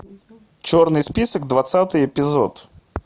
черный список двадцатый эпизод